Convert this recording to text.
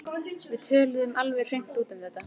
Við töluðum alveg hreint út um þetta.